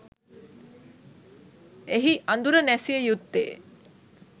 එහි අඳුර නැසිය යුත්තේ